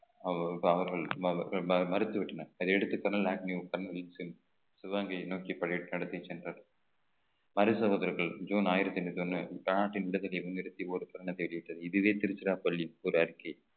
அவர்கள் மறு~ மறு~ மறுத்து விட்டனர் அதையடுத்து தமிழ்நாட்டின் சிவகங்கையை நோக்கி சென்றது ஹரிஷாவார்த்தார்கள் ஜூன் ஆயிரத்தி எண்ணூத்தி ஒண்ணு நாட்டின் விடுதியில் முன் நிறுத்தி ஒரு பெண்ணை தேடிவிட்டது இதுவே திருச்சிராப்பள்ளி ஒரு அறிக்கை